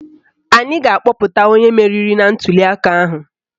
Anyị ga-akpọpụta onye meriri na ntuliaka ahụ